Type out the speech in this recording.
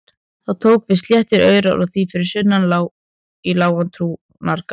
Þá tóku við sléttir aurar og þar fyrir sunnan sá í lágan túngarð.